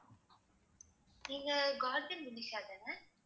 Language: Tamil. நீங்கக் காஜின் முனிஷா தான?